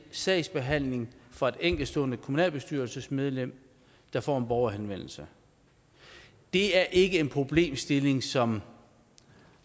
sagsbehandlingen fra et enkeltstående kommunalbestyrelsesmedlem der får en borgerhenvendelse det er ikke en problemstilling som